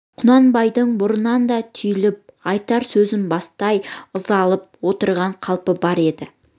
құнанбайдың бұрыннан да түйіліп айтар сөзін бастамай ызаланып отырған қалпы бар еді